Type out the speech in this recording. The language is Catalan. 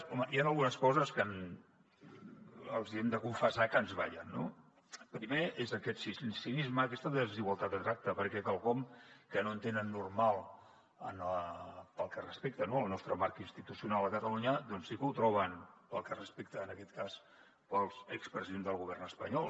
home hi han algunes coses que els hi hem de confessar que ens ballen no el primer és aquest cinisme aquesta desigualtat de tracte pe què quelcom que no entenen normal pel que respecta al nostre marc institucional a catalunya doncs sí que ho troben pel que respecta en aquest cas als expresidents del govern espanyol